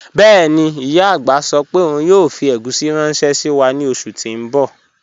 Bẹẹni, iya agbá sọ pe ọun yoo fi egusi ranṣẹ si wa ni oṣu ti n bọ